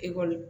Ekɔli